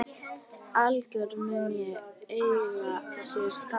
Aðlögun mun eiga sér stað.